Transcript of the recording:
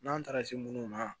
N'an taara se munnu ma